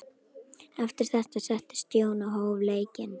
Eftir þetta settist Jón og hóf leikinn.